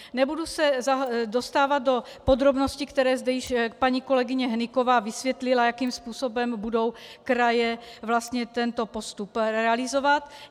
Nebudu se dostávat do podrobností, které zde již paní kolegyně Hnyková vysvětlila, jakým způsobem budou kraje vlastně tento postup realizovat.